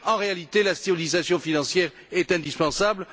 En réalité, la stabilisation financière est indispensable